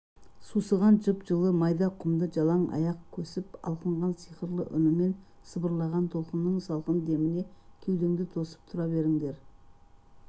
сусыған жып-жылы майда құмды жалаң аяқ көсіп алқынған сиқырлы үнімен сыбырлаған толқынның салқын деміне кеудеңді тосып тұра беріңдер